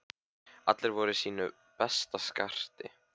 Allir voru í sínu besta skarti.